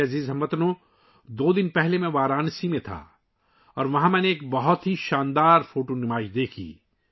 میرے پیارے ہم وطنو، دو دن پہلے میں وارانسی میں تھا اور وہاں میں نے ایک بہت ہی شاندار تصویری نمائش دیکھی